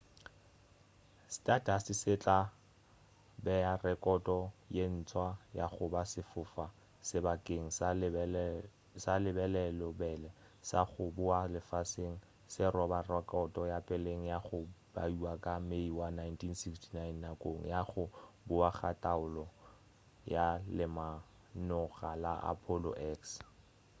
stardust se tla bea rekoto ye ntswa ya goba sefofa-sebakeng sa lebelobelo sa go boa lefaseng se roba rekoto ya peleng ya go baiwa ka may wa 1969 nakong ya go boa ga taolo ya lemanoga la apollo x